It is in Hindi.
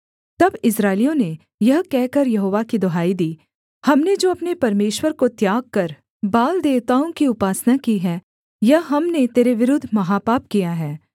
तब इस्राएलियों ने यह कहकर यहोवा की दुहाई दी हमने जो अपने परमेश्वर को त्याग कर बाल देवताओं की उपासना की है यह हमने तेरे विरुद्ध महापाप किया है